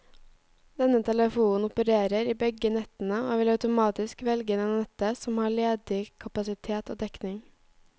Denne telefonen opererer i begge nettene og vil automatisk velge det nettet som har ledig kapasitet og dekning.